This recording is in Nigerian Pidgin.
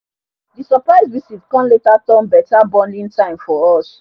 the surprise visit come later turn better bonding time for us